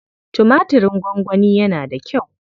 Tumatirin gongoni yana da kyau.